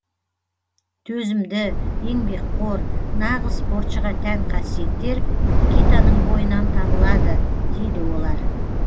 төзімді еңбекқор нағыз спортшыға тән қасиеттер никитаның бойынан табылады дейді олар